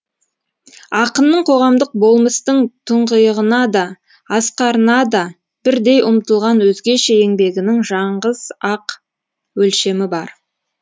ақынның қоғамдық болмыстың тұңғиығына да асқарына да бірдей ұмтылған өзгеше еңбегінің жаңғыз ақ өлшемі бар